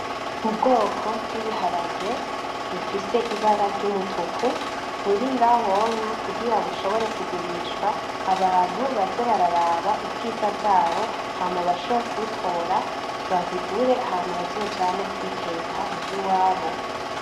Ubwoko bw'ibiharage bifise ibara ry'umutuku buri ngahonya kugira bushobore kugurishwa , abantu baze bararaba ubwiza bwabo hama bashobore kubutora babigure hama bazojane kubiteka muhira iwabo .